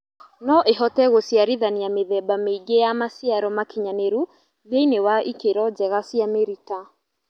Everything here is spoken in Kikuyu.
Noĩhote gũciarithania mĩthemba mĩingĩ ya maciaro makinyanĩru thĩinĩ wa ikĩro njega cia mĩrita